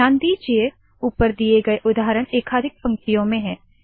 ध्यान दीजिए ऊपर दिए गए उदाहरण एकाधिक पंक्तियों में है